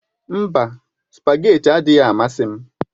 Mba, spagéti adịghị amasị ya.